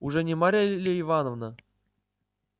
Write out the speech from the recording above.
уж не марья ли ивановна